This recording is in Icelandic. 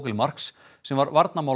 Fogelmarks sem var